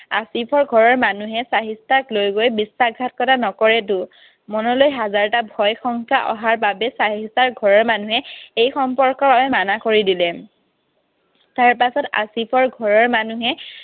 আছিফৰ ঘৰৰ মানুহে চাহিষ্ঠাক লৈ গৈ বিশ্বাসঘাতকতা নকৰেতো। মনলৈ হাজাৰটা ভয়, সংশয় অহাৰ বাবে চাহিষ্ঠাৰ ঘৰৰ মানুহে এই সম্পৰ্ক মানা কৰি দিলে। তাৰপাছত আছিফৰ ঘৰৰ মানুহে